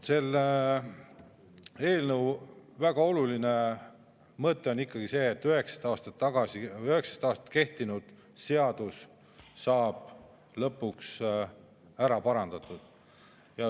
Selle eelnõu väga oluline mõte on ikkagi see, et 19 aastat kehtinud seadus saab lõpuks ära parandatud.